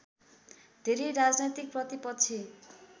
धेरै राजनैतिक प्रतिपक्षी